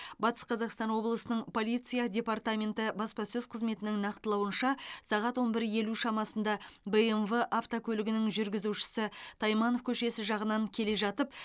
батыс қазақстан облысының полиция департаменті баспасөз қызметінің нақтылауынша сағат он бір елу шамасында бмв автокөлігінің жүргізушісі тайманов көшесі жағынан келе жатып